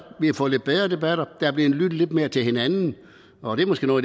vi har fået lidt bedre debatter vi har lyttet lidt mere til hinanden og det er måske noget